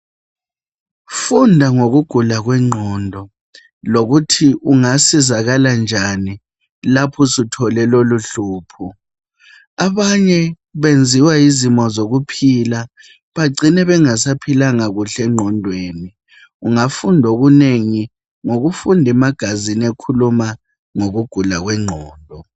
Funda ngokugula kwengqondo lokuthi ungasizakala njani lapho suthole loluhlupho. Abanye benziwa yizimo zokuphila bagcine bengasaphilanga kuhle engqondweni. Ungafunda okunengi ngokufundi magazine ekhuluma ngokugula kwengqondo.